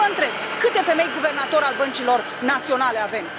Și vă întreb, câte femei guvernatori ai băncilor naționale avem?